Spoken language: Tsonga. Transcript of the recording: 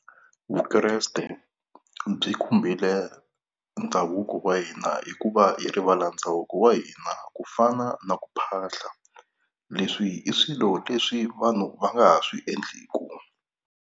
Vukreste byi khumbile ndhavuko wa hina hikuva hi rivala ndhavuko wa hina ku fana na ku phahla, leswi i swilo leswi vanhu va nga ha swi endleku.